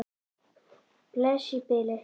Bless í bili.